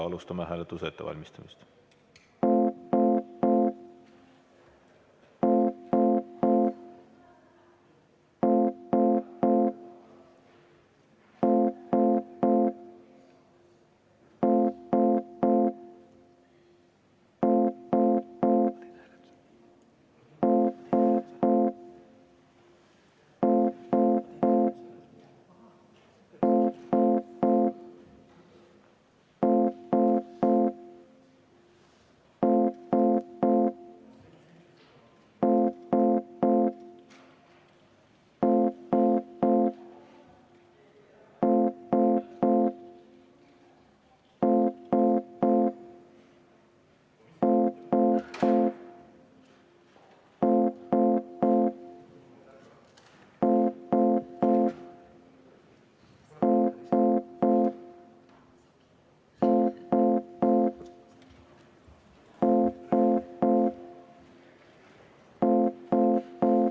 Alustame hääletuse ettevalmistamist.